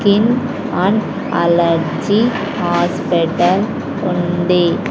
Skin and allergies hospital ఉంది.